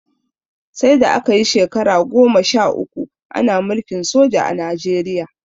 Saida aka yi shekara goma sha uku Ana mulkin soja a Najeriya